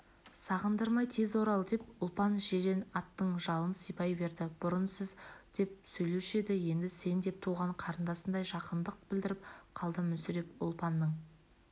сағындырмай тез орал деп ұлпан жирен аттың жалын сипай берді бұрын сіз деп сөйлеуші еді енді сен деп туған қарындасындай жақындық білдіріп қалды мүсіреп ұлпанның